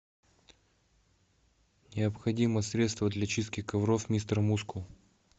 необходимо средство для чистки ковров мистер мускул